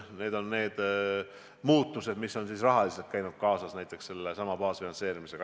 Need on need muutused, mis kaasnevad sellesama baasfinantseerimisega.